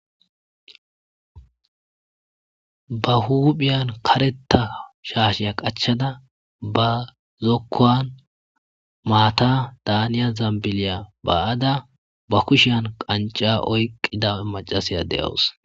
Ba huphiyan karetha shaashiya qachada ba kushiyan qanc'a oykida macashiya de'awusi.